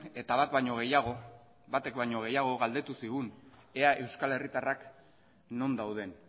eta bat baino gehiago batek baino gehiago galdetu zigun ea euskal herritarrak non dauden